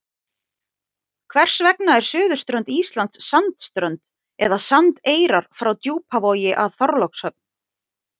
Hvers vegna er suðurströnd Íslands sandströnd eða sandeyrar frá Djúpavogi að Þorlákshöfn?